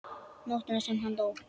Nóttina sem hann dó?